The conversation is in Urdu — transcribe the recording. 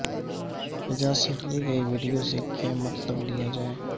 فضا سے لی گئی ویڈیو سے کیا مطلب لیا جائے